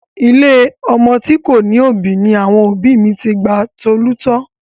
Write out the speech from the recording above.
Ilé ọmọ tí kò ní òbí ni àwọn òbí mi ti gba Tolú tọ́.